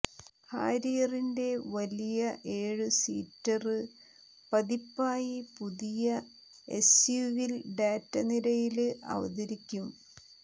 ഹാരിയറിന്റെ വലിയ ഏഴു സീറ്റര് പതിപ്പായി പുതിയ എസ്യുവി ടാറ്റ നിരയില് അവതരിക്കും